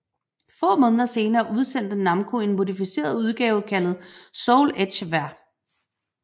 Få måneder senere udsendte Namco en modificeret udgave kaldt Soul Edge Ver